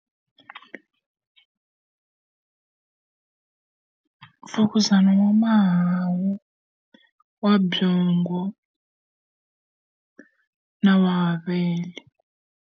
Mfukuzana wa mahawu, wa byongo, na wa mavele.